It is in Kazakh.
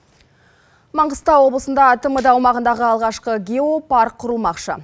маңғыстау облысында тмд аумағындағы алғашқы геопарк құрылмақшы